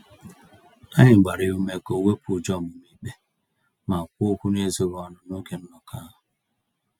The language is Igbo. Anyị gbara ya ume ka owepụ ụjọ ọmụma-ikpe, ma kwuo okwu n'ezoghị ọnụ n'oge nnọkọ ahụ.